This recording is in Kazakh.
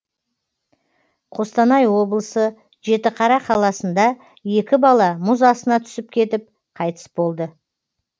қостанай облысы жетіқара қаласында екі бала мұз астына түсіп кетіп қайтыс болды